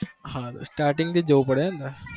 starting જોવું પડેને પણ?